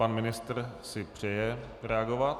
Pan ministr si přeje reagovat.